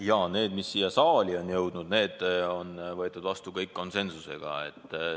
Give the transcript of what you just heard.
Need ettepanekud, mis siia saali on jõudnud, on kõik vastu võetud konsensusega.